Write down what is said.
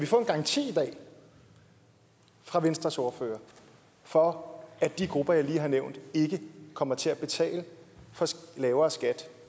få en garanti fra venstres ordfører for at de grupper jeg lige har nævnt ikke kommer til at betale for lavere skat